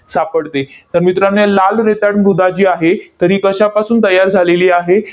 सापडते. तर मित्रांनो, लाल रेताड मृदा जी आहे, तर ही कशापासून तयार झालेली आहे?